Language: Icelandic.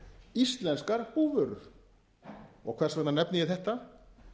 íslenskar búvörur og hvers vegna nefni ég þetta